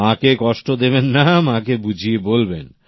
মাকে কষ্ট দেবেন না মাকে বুঝিয়ে বলবেন